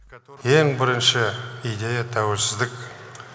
ең бірінші идея тәуелсіздік